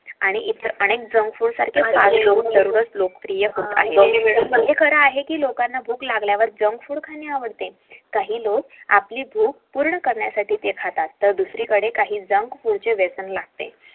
ते खर आहे की लोकांना जंक फूड खाणे आवडते काही लोक आपली भूक पूर्ण करण्यासाठी ते खातात पण आही लोकांना जंक फूड चे वेसण लागते